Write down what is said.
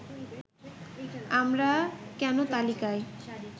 আমরা কেন তালিকায়